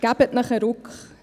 Geben Sie sich einen Ruck.